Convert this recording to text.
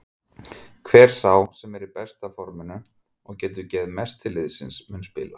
Hver sá sem er í besta forminu og getur gefið mest til liðsins mun spila.